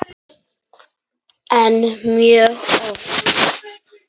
En mjög oft.